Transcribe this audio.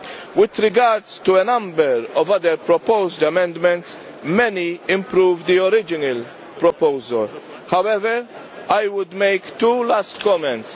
With regard to a number of other proposed amendments, many improve the original proposal. However, I would make two last comments.